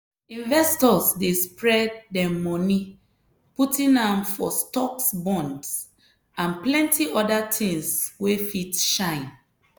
investors dey spread dem money putting am for stocks bonds and plenty other things wey fit shine.